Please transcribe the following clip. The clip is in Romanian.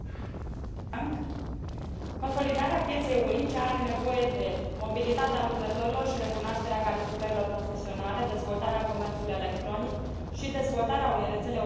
Consolidarea pieței unice are nevoie de mobilitatea lucrătorilor și recunoașterea calificărilor profesionale, dezvoltarea comerțului electronic și dezvoltarea unei rețele europene a ghișeelor unice.